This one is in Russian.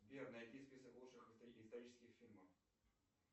сбер найди список лучших исторических фильмов